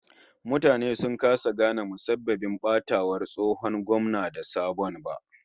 Mutane sun kasa gane musabbabin batawar tsohon gwamna da sabon ba